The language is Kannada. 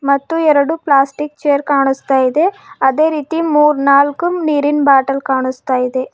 ಮತ್ತು ಎರಡು ಪ್ಲಾಸ್ಟಿಕ್ ಚೇರ್ ಕಾಣಿಸ್ತಾ ಇದೆ ಅದೇ ರೀತಿ ಮೂರ್ನಾಲ್ಕು ನೀರಿನ್ ಬಾಟಲ್ ಕಾಣಿಸ್ತಾ ಇದೆ.